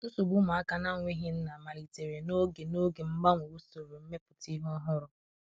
nsogbu ụmụaka na nweghi nna malitere n'oge n'oge mgbanwe ụsoro mmeputa ihe ọhuru